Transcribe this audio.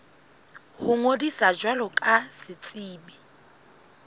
ho ngodisa jwalo ka setsebi